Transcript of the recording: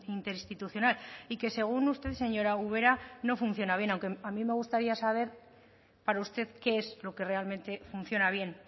interinstitucional y que según usted señora ubera no funciona bien aunque a mí me gustaría saber para usted qué es lo que realmente funciona bien